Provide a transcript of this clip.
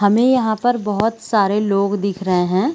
हमें यहाँ पर बहुत सारे लोग दिख रहे हैं।